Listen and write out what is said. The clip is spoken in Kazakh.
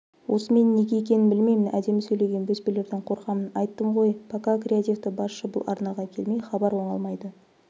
осы мен неге екенін білмеймін әдемі сөйлеген бөспелерден қорқамын айттым ғойпокакреативтібасшы бұл арнаға келмей хабар оңалмайды